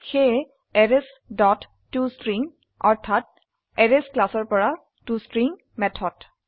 সেয়ে arrays dot to string অৰ্থাত arrays ক্লাসৰ পৰা টষ্ট্ৰিং মেথড